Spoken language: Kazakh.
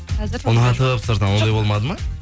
ұнатып сыртынан ондай болмады ма